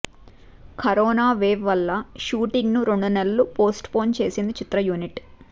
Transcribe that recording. corona wave వల్ల shooting ను రెండు నెలలు పోస్ట్ పోన్ చేసింది చిత్ర యూనిట్